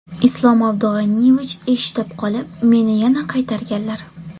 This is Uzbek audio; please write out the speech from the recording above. Islom Abdug‘aniyevich eshitib qolib, meni yana qaytarganlar.